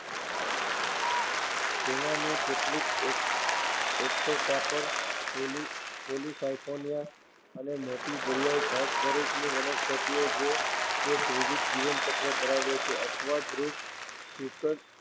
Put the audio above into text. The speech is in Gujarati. તેમાંની કેટલીક એક્ટોકાર્પસ, પોલીસાયફોનિયા અને મોટી દરિયાઈ ઘાસ સ્વરૂપની વનસ્પતિઓ જે એક-દ્વવિધ જીવનચક્ર ધરાવે છે. અપવાદરૂપ ફયુક્સ